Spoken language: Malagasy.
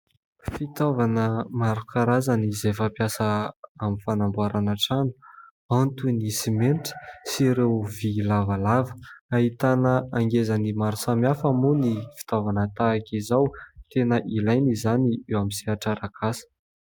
Fitaovana maro karazany izay fampiasa amin'ny fanamboarana trano, toy ny simentra sy ireo vy lavalava. Ahitana angezany maro samihafa moa ny fitaovana tahaka izao, tena ilaina izany eo amin'ny sehatra arak'asa.